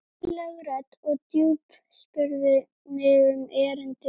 Undarleg rödd og djúp spurði mig um erindið.